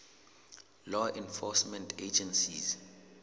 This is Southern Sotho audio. law enforcement agencies